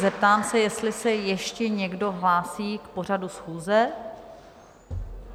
Zeptám se, jestli se ještě někdo hlásí k pořadu schůze.